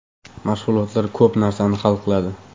Mashg‘ulotlar ko‘p narsani hal qiladi.